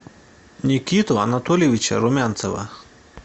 никиту анатольевича румянцева